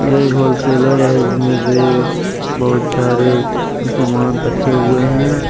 ये एक होलसेलर है जिसमें से बहुत सारे सामान रखे हुए हैं।